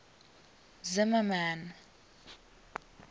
zimmermann